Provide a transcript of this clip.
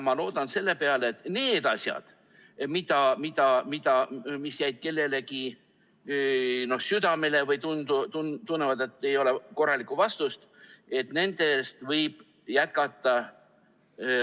Ma loodan selle peale, et kui kellelgi jäid mingid asjad südamele, või kui kellelegi tundub, et ei ole korralikku vastust, siis võib jätkata.